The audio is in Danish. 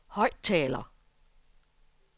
højttaler